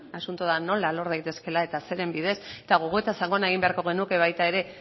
asuntoa da nola lor daitezkeela eta zeren bidez eta gogoeta sakona egin beharko genuke baita ere